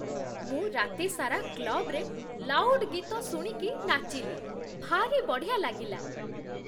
ମୁଁ ରାତି ସାରା କ୍ଲବ୍ରେ ଲାଉଡ୍ ଗୀତ ଶୁଣିକି ନାଚିଲି । ଭାରି ବଢ଼ିଆ ଲାଗିଲା ।